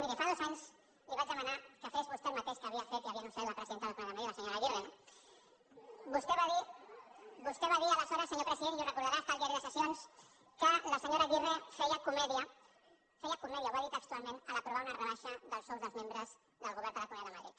miri fa dos anys li vaig demanar que fes vostè el mateix que havia fet i havia anunciat la presidenta de la comunitat de madrid la senyora aguirre no vostè va dir aleshores senyor president i ho deu recordar està al diari de sessions que la senyora aguirre feia comèdia feia comèdia ho va dir textualment a l’aprovar una rebaixa dels sous dels membres del govern de la comunitat de madrid